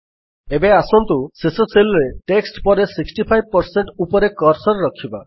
ଏବେ ଆସନ୍ତୁ ଶେଷ Cellରେ ଟେକ୍ସଟ୍ ପରେ 65 ଉପରେ କର୍ସର୍ ରଖିବା